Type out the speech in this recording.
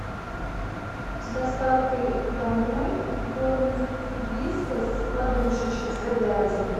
с доставкой домой корм вискас подушечки с говядиной